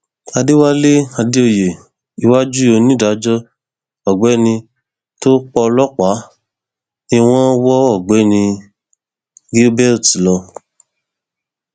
àdẹwálé àdèoyè iwájú onídàájọ ọgbẹni ta pọlọpà ni wọn wọ ọgbẹni gilbert lọ